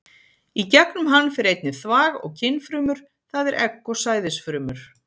Í gegnum hann fer einnig þvag og kynfrumur, það er egg og sæðisfrumur.